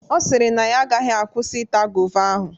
Ọ sịrị na ya agaghị akwụsị ita gova ahụ.